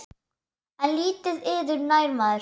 En lítið yður nær maður.